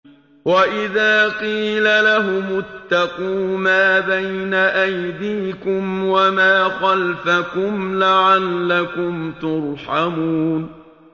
وَإِذَا قِيلَ لَهُمُ اتَّقُوا مَا بَيْنَ أَيْدِيكُمْ وَمَا خَلْفَكُمْ لَعَلَّكُمْ تُرْحَمُونَ